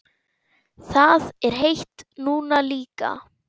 Það er heitt núna líka.